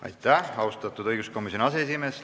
Aitäh, austatud õiguskomisjoni aseesimees!